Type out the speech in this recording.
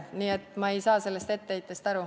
Nii et ma ei saa sellest etteheitest aru.